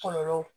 Kɔlɔlɔ